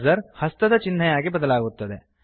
cursor ಹಸ್ತದ ಚಿನ್ಹೆಯಾಗಿ ಬದಲಾಗುತ್ತದೆ